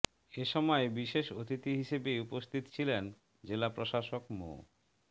এ সময় বিশেষ অতিথি হিসেবে উপস্থিত ছিলেন জেলা প্রশাসক মো